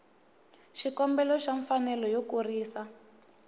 xikombelo xa mfanelo yo kurisa